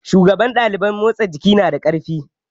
Shugaban ɗaliban motsa jiki nada ƙarfi